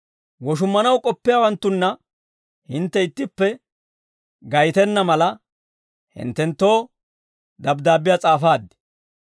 Woshummanaw k'oppiyaawanttunna hintte ittippe gaytenna mala, hinttenttoo dabddaabbiyaa s'aafaad.